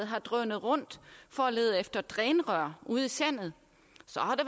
har drønet rundt for at lede efter drænrør ude i sandet